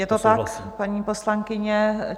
Je to tak, paní poslankyně?